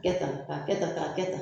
Kɛ tan, ka kɛ tan ka kɛ tan.